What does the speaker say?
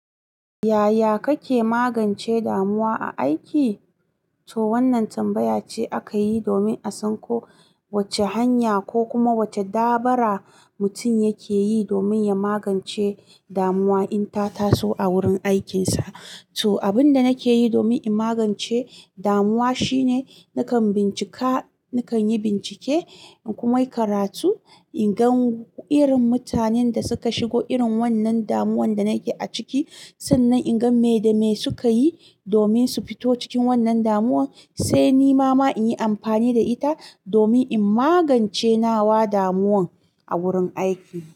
Yaya kake magance damuwa a aiki? To wannan tambaya ce aka yi domin a san ko wace hanya ko kuma wace dabara mutum yake yi domin ya magance damuwa in ta taso a wurin aikinsa. To abin da nake yi domin in magance damuwa shine nakan bincika, nakan yi bincike kuma yi karatu inga irin mutanen da suka shigo irin wannan damuwan da nake a ciki sannan inga me da me suka yi domin su fito cikin wannan damuwan, sai ni ma in yi amfani da ita domin in magance nawa damuwan a wurin aiki.